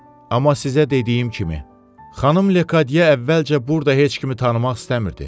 Amma sizə dediyim kimi, Xanım Lekadye əvvəlcə burda heç kimi tanımaq istəmirdi.